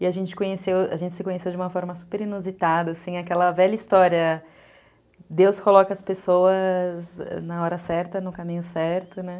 E a gente se conheceu, a gente se conheceu de uma forma super inusitada, assim, aquela velha história, Deus coloca as pessoas... na hora certa, no caminho certo, né?